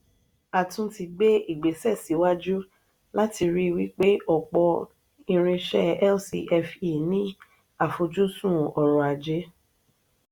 a tún ti gbé ìgbésẹ síwájú láti rí wípé ọpọ irinṣẹ lcfe ní àfojúsùn orò-ajé.